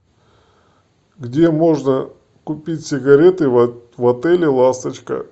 где можно купить сигареты в отеле ласточка